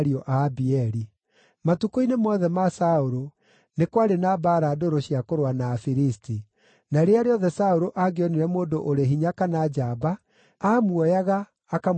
Matukũ-inĩ mothe ma Saũlũ nĩ kwarĩ na mbaara ndũrũ cia kũrũa na Afilisti, na rĩrĩa rĩothe Saũlũ angĩonire mũndũ ũrĩ hinya kana njamba, aamuoyaga, akamũtoonyia ita-inĩ rĩake.